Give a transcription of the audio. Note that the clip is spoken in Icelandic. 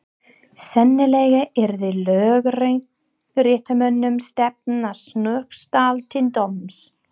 Sennilega yrði lögréttumönnum stefnt að Snóksdal til dóms.